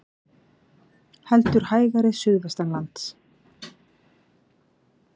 Heldur hægari suðvestanlands